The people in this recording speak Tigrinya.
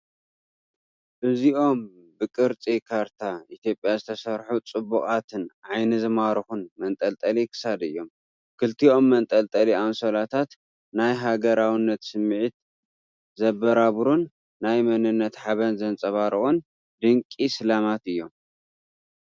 እዚኦም ብቅርጺ ካርታ ኢትዮጵያ ዝተሰርሑ ጽቡቓትን ዓይኒ ዝማርኹን መንጠልጠሊ ክሳድ እዮም። ክልቲኦም መንጠልጠሊ ኣንሶላታት ናይ ሃገራውነት ስምዒት ዘበራብሩን ናይ መንነት ሓበን ዘንጸባርቑን ድንቂ ስልማት እዮም!